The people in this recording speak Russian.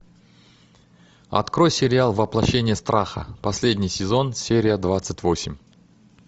открой сериал воплощение страха последний сезон серия двадцать восемь